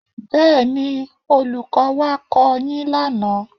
Bẹ́ẹ̀ni, Olùkọ́ wá kọ́ ọ yín lánàá